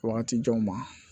Wagati janw ma